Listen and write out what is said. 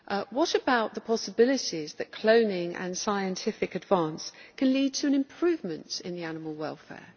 What about the possibilities that cloning and scientific advance can lead to an improvement in animal welfare?